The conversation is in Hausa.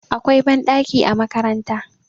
akwai banɗaki a makaranta